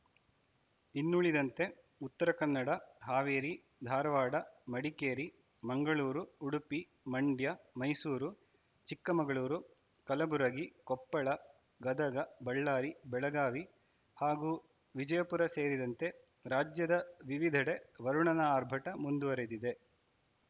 ಇನ್ನುಳಿದಂತೆ ಉತ್ತರ ಕನ್ನಡ ಹಾವೇರಿ ಧಾರವಾಡ ಮಡಿಕೇರಿ ಮಂಗಳೂರು ಉಡುಪಿ ಮಂಡ್ಯ ಮೈಸೂರು ಚಿಕ್ಕಮಗಳೂರು ಕಲಬುರಗಿ ಕೊಪ್ಪಳ ಗದಗ ಬಳ್ಳಾರಿ ಬೆಳಗಾವಿ ಹಾಗೂ ವಿಜಯಪುರ ಸೇರಿದಂತೆ ರಾಜ್ಯದ ವಿವಿಧೆಡೆ ವರುಣನ ಆರ್ಭಟ ಮುಂದುವರೆದಿದೆ